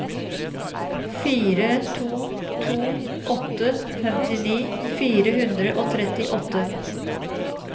fire to to åtte femtini fire hundre og trettiåtte